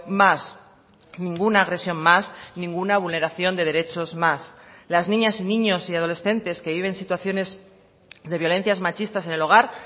más ninguna agresión más ninguna vulneración de derechos más las niñas y niños y adolescentes que viven situaciones de violencias machistas en el hogar